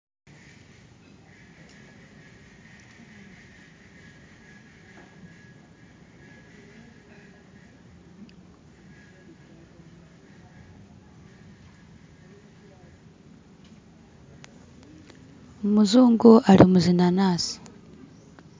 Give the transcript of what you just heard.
Umuzungu ali muzinanasi